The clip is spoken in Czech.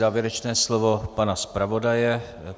Závěrečné slovo pana zpravodaje.